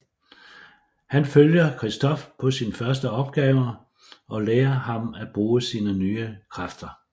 Han følger Christof på sin første opgave og lære ham at bruge sine nye kræfter